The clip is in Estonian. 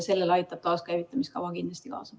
Sellele aitab taaskäivitamise kava kindlasti kaasa.